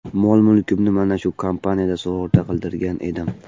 Mol-mulkimni mana shu kompaniyada sug‘urta qildirgan edim.